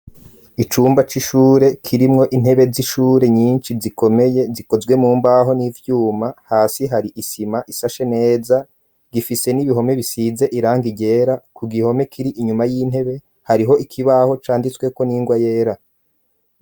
Icumba c'ishure kirimwo intebe z'ishure nyinshi yikomeye gikozwe mumbaho n'ivyuma hasi hari isima isashe neza gifise n'ibihome bisize irang igera ku gihome kiri inyuma y'intebe, hariho ikibaho canditsweko ningwa yera.